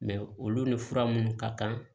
olu ni fura minnu ka kan